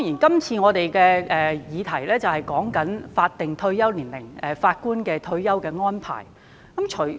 這次的議題是關於法定退休年齡及法官的退休安排。